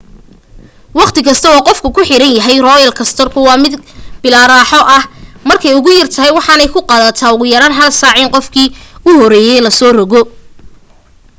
waqti kasta oo qofku ku xayiran yahay roolar koostarku waa mid bilaa raaxo ah markay ugu yartahay waxaanay ku qaadatay ugu yaraan hal saac in qofkii u horeeyay la soo rogo